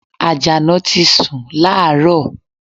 Àjàná ti sun láàárọ̀